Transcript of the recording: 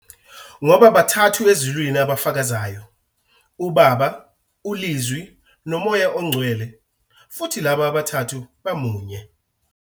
"Ngoba bathathu eZulwini abafakazayo-uBaba, uLizwi noMoya oNgcwele. futhi laba abathathu bamunye.